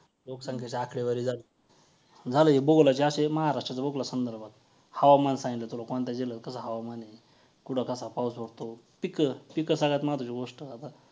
लोकसंख्येची आकडेवारी झाली. झालं हे भूगोलाचे असे महाराष्ट्राच्या भूगोलासंदर्भात. हवामान सांगितलं तुला कोणत्या जिल्ह्यात कसं हवामान आहे? कुठं कसा पाऊस होतो? पिकं, पिकं सगळ्यात महत्वाची गोष्ट आता.